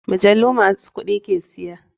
Majalu masu kuɗi ke siya.